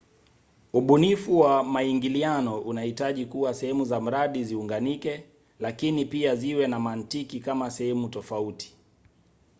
ubunifu wa maingiliano unahitaji kuwa sehemu za mradi ziunganike lakini pia ziwe na mantiki kama sehemu tofauti